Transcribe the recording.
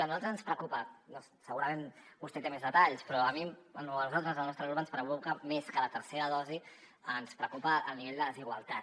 a nosaltres ens preocupa segurament vostè té més detalls però a mi a nosaltres al nostre grup ens preocupa més que la tercera dosi ens preocupa el nivell de desigualtat